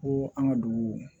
Ko an ka dugu